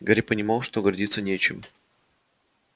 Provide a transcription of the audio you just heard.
гарри понимал что гордиться нечем